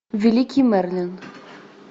великий мерлин